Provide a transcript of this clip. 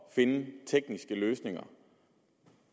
at finde tekniske løsninger